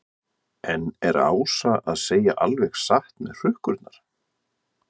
En er Ása að segja alveg satt með hrukkurnar?